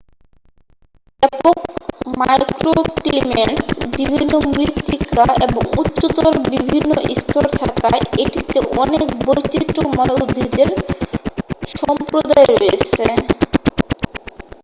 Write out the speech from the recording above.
এটির ব্যাপক মাইক্রোক্লিমেটস বিভিন্ন মৃত্তিকা এবং উচ্চতর বিভিন্ন স্তর থাকায় এটিতে অনেক বৈচিত্রময় উদ্ভিদের সম্প্রদায় রয়েছে